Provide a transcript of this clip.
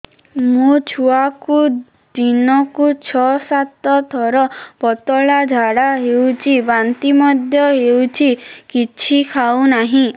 ମୋ ଛୁଆକୁ ଦିନକୁ ଛ ସାତ ଥର ପତଳା ଝାଡ଼ା ହେଉଛି ବାନ୍ତି ମଧ୍ୟ ହେଉଛି କିଛି ଖାଉ ନାହିଁ